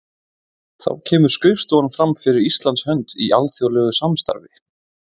Þá kemur skrifstofan fram fyrir Íslands hönd í alþjóðlegu samstarfi.